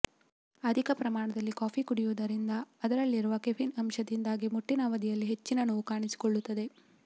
ಅಧಿಕ ಪ್ರಮಾಣದಲ್ಲಿ ಕಾಫೀ ಕುಡಿಯುವುದರಿಂದ ಅದರಲ್ಲಿರುವ ಕೆಫಿನ್ ಅಂಶದಿಂದಾಗಿ ಮುಟ್ಟಿನ ಅವಧಿಯಲ್ಲಿ ಹೆಚ್ಚಿನ ನೋವು ಕಾಣಿಸಿಕೊಳ್ಳುತ್ತದೆ